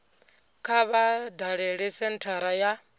kha vha dalele senthara ya